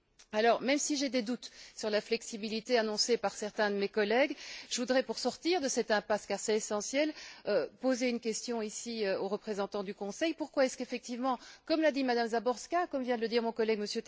Alors, même si j'ai des doutes sur la flexibilité annoncée par certains de mes collègues, je voudrais, pour sortir de cette impasse car c'est essentiel poser une question aux représentants du Conseil pourquoi ne repart on pas effectivement, comme l'a dit Mme Záborská et comme vient de le dire mon collègue,